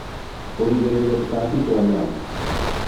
Kũrigĩrĩria tũtambi twa nyanya